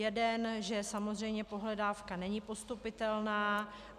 Jeden, že samozřejmě pohledávka není postupitelná.